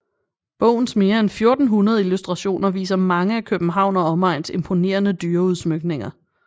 Bogens mere en 1400 illustrationer viser mange af København og omegns imponerende dyreudsmykninger